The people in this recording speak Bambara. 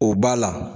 O b'a la